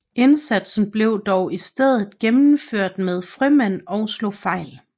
Indsatsen blev dog i stedet gennemført med frømænd og slog fejl